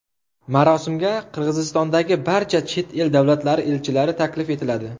Marosimga Qirg‘izistondagi barcha chet el davlatlari elchilari taklif etiladi.